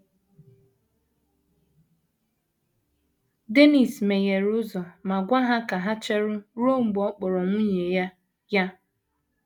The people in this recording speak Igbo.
Dennis meghere ụzọ ma gwa ha ka ha chere ruo mgbe ọ kpọrọ nwunye ya ya.